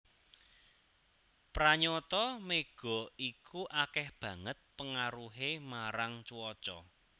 Pranyata mega iku akéh banget pengaruhé marang cuaca